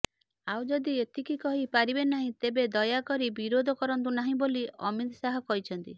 ଆଉ ଯଦି ଏତିକି କହି ପାରିବେ ନାହିଁ ତେବେ ଦୟାକରି ବିରୋଧ କରନ୍ତୁ ନାହଁ ବୋଲି ଅମିତ ଶାହ କହିଛନ୍ତି